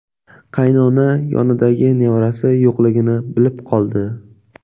Qaynona yonidagi nevarasi yo‘qligini bilib qoldi.